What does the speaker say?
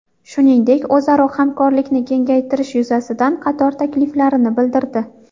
Shuningdek, o‘zaro hamkorlikni kengaytirish yuzasidan qator takliflarini bildirdi.